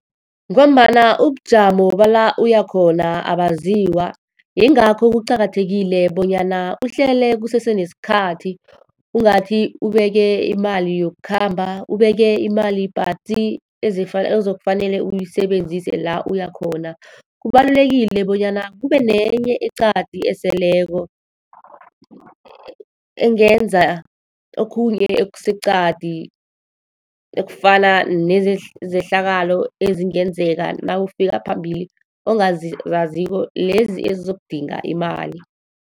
Ngombana ubujamo bala uya khona abaziwa, yingakho kuqakathekile bonyana uhlele kusese nesikhathi. Ungathi ubeke imali yokukhamba, ubeke imali patsi. Ozokufanele uyisebenzise la uya khona. Kubalulekile bonyana kube nenye eqadi eseleko, engenza okhunye okuseqadi ekufana nezehlakalo ezingenzeka nawufika phambili, ongazaziko. Lezi ezizokudinga imali.